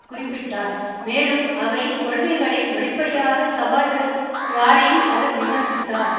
குறிப்பிட்டார் மேலும் அவரின் கொள்கைகளை வெளிப்படையாக சவால் விடும் யாரையும் அவர் விமர்சித்தார்